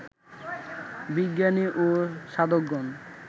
বিজ্ঞানী ও সাধকগণ